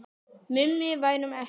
Mummi værum ekki.